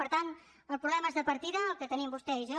per tant el problema és de partida el que tenim vostè i jo